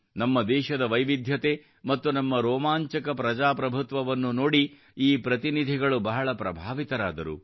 ನಮ್ಮ ದೇಶದ ವೈವಿಧ್ಯತೆ ಮತ್ತು ನಮ್ಮ ರೋಮಾಂಚಕ ಪ್ರಜಾಪ್ರಭುತ್ವವನ್ನು ನೋಡಿ ಈ ಪ್ರತಿನಿಧಿಗಳು ಬಹಳ ಪ್ರಭಾವಿತರಾದರು